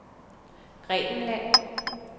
Grækenland